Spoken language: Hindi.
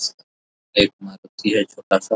एक मारुति है छोटा-सा।